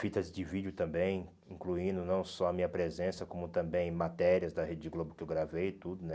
Fitas de vídeo também, incluindo não só a minha presença, como também matérias da Rede Globo que eu gravei e tudo, né?